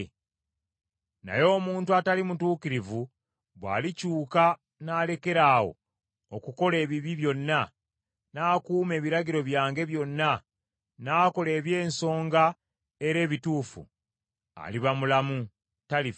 “Naye omuntu atali mutuukirivu bw’alikyuka n’alekeraawo okukola ebibi byonna, n’akuuma ebiragiro byange byonna n’akola eby’ensonga era ebituufu, aliba mulamu, talifa.